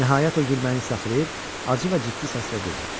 Nəhayət o gülməyini saxlayıb acı və ciddi səslə dedi: